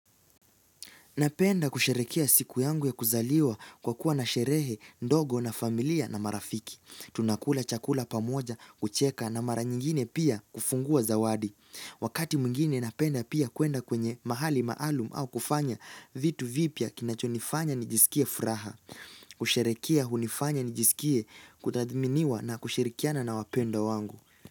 Napenda kusherehekea siku yangu ya kuzaliwa kwa kuwa na sherehe, ndogo na familia na marafiki. Tunakula chakula pamoja kucheka na mara nyingine pia kufungua zawadi. Wakati mwingine napenda pia kwenda kwenye mahali maalum au kufanya vitu vipya kinachonifanya nijisikie furaha. Kusherehekea hunifanya nijisikie kudhaminiwa na kushirikiana na wapendwa wangu.